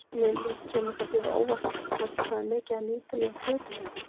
Lillý: Kemur það þér á óvart kannski hvað er mikið af nýtilegum hlutum hérna?